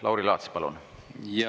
Lauri Laats, palun!